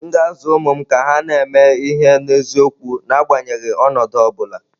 M ga-azụ ụmụ m ka ha na-eme ihe n’eziokwu n’agbanyeghị ọnọdụ ọ bụla.